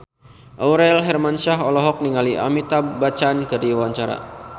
Aurel Hermansyah olohok ningali Amitabh Bachchan keur diwawancara